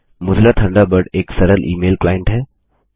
Mozilla Thunderbird एक सरल email client है